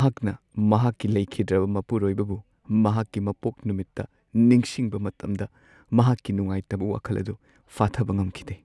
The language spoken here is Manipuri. ꯃꯍꯥꯛꯅ ꯃꯍꯥꯛꯀꯤ ꯂꯩꯈꯤꯗ꯭ꯔꯕ ꯃꯄꯨꯔꯣꯏꯕꯕꯨ ꯃꯍꯥꯛꯀꯤ ꯃꯄꯣꯛ ꯅꯨꯃꯤꯠꯇ ꯅꯤꯡꯁꯤꯡꯕ ꯃꯇꯝꯗ ꯃꯍꯥꯛꯀꯤ ꯅꯨꯉꯥꯏꯇꯕ ꯋꯥꯈꯜ ꯑꯗꯨ ꯐꯥꯊꯕ ꯉꯝꯈꯤꯗꯦ ꯫